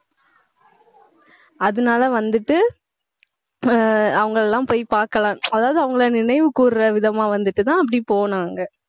அதனால வந்துட்டு ஆஹ் அவங்க எல்லாம் போய் பாக்கலாம். அதாவது, அவங்களை நினைவு கூறுற விதமா வந்துட்டுதான் அப்படி போனாங்க.